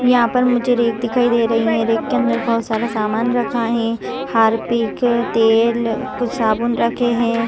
यहाँ पर मुझे रेक दिखाइ दे रही है रेक के अंदर मुझे बहुत सारा समान रखा है हार्पिक तेल कुछ साबुन रखे है।